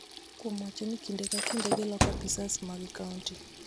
kuom wacho ni kinde ka kinde giloko apisas mag kaonti.